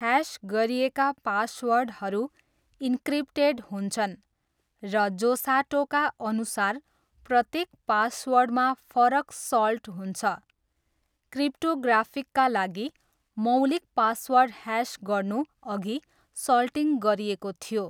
Hash गरिएका पासवर्डहरू encrypted हुन्छन्, र जोसाटोका अनुसार, प्रत्येक पासवर्डमा फरक 'सल्ट' हुन्छ, क्रिप्टोग्राफिकका लागि, मौलिक पासवर्ड ह्यास गर्नु अघि सल्टिङ गरिएको थियो।